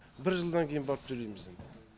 бір жылдан кейін барып төлейміз енді